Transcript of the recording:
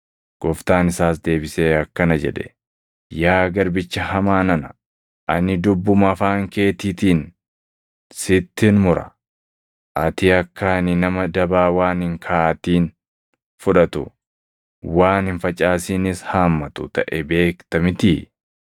“Gooftaan isaas deebisee akkana jedhe; ‘Yaa garbicha hamaa nana; ani dubbuma afaan keetiitiin sittin mura; ati akka ani nama dabaa waan hin kaaʼatin fudhatu, waan hin facaasinis haammatu taʼe beekta mitii?